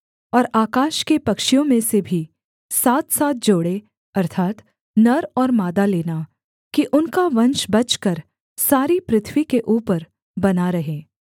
और आकाश के पक्षियों में से भी सातसात जोड़े अर्थात् नर और मादा लेना कि उनका वंश बचकर सारी पृथ्वी के ऊपर बना रहे